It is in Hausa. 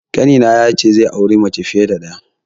Ƙanina ya ce zai auri mace fiye da ɗaya.